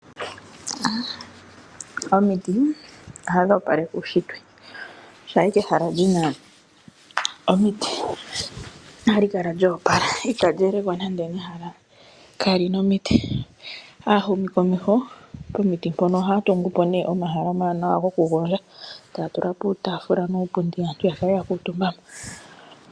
Omiti ohadhi opaleke uushitwe shampa ashike ehala lina omiti ohali kala lyoopala itali elekwa nande nehala kaalina omiti. Aahumikomeho pomiti mpono ohaya tungu po nee omahala omawanawa gokugondja taya tula po uutafula nuupundi aantu ya kale yakuutumba mo.